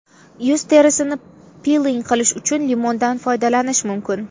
Yuz terisini piling qilish uchun limondan foydalanish mumkin.